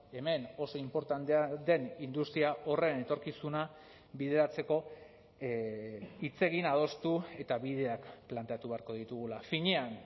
hemen oso inportantea den industria horren etorkizuna bideratzeko hitz egin adostu eta bideak planteatu beharko ditugula finean